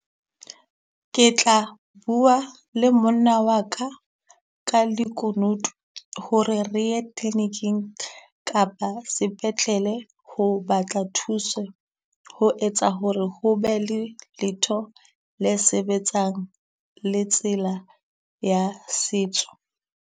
Ke tla bua le monna waka ka lekunutu ho re re ye clinic-ing kapa sepetlele ho batla thuso. Ho etsa ho re ho be le letho le sebetsang le tsela ya setso.